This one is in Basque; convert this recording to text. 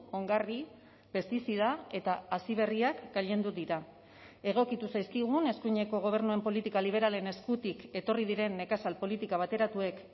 ongarri pestizida eta hazi berriak gailendu dira egokitu zaizkigun eskuineko gobernuen politika liberalen eskutik etorri diren nekazal politika bateratuek